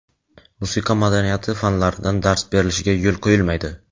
musiqa madaniyati fanlaridan dars berilishiga yo‘l qo‘yilmaydi.